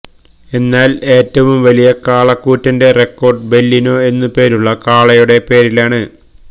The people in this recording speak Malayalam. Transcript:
എന്നാല് ഏറ്റവും വലിയ കാളക്കൂറ്റന്റെ റെക്കോഡ് ബെല്ലിനോ എന്നു പേരുള്ള കാളയുടെ പേരിലാണ്